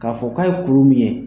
K'a fɔ k'a ye kuru min ye